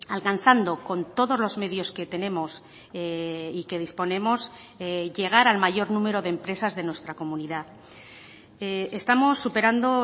alcanzando con todos los medios que tenemos y que disponemos llegar al mayor número de empresas de nuestra comunidad estamos superando